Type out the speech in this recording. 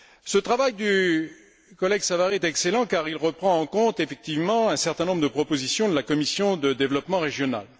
Ce travail du collègue Savary est excellent car il reprend en compte effectivement un certain nombre de propositions de la commission du développement régional.